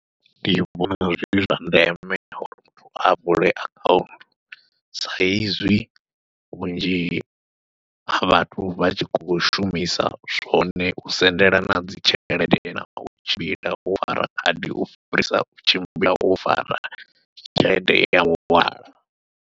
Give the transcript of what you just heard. Ndi vhona zwi zwa ndeme uri muthu a vule akhanthu, saizwi vhunzhi ha vhathu vha tshi kho shumisa zwone u sendelana dzi tshelede nau tshimbila wo khadi u fhirisa u tshimbila wo fara tshelede yau .